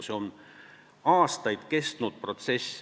See on aastaid kestnud protsess.